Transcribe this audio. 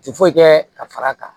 Ti foyi kɛ ka far'a kan